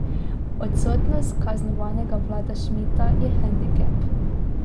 Odsotnost kaznovanega Vlada Šmita je hendikep.